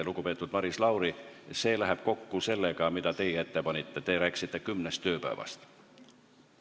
Lugupeetud Maris Lauri, see läheb kokku sellega, mida teie ette panite, te rääkisite kümnest tööpäevast.